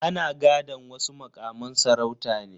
Ana gadan wasu mukaman sarauta ne.